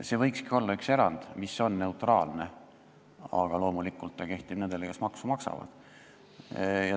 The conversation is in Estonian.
See võikski olla üks neutraalne erand, aga loomulikult kehtib see nende kohta, kes maksu maksavad.